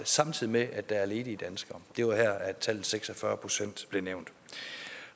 samtidig med at der er ledige danskere det var her at tallet seks og fyrre procent blev nævnt